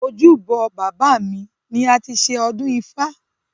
Ojúbọ bàbá mi ni a ti ṣe ọdún ifá.